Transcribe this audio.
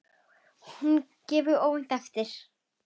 Að hún gefi óvænt eftir.